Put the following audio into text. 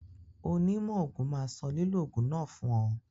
Onímọ̀ òògùn máa sọ lílò òògùn náà fún ọ.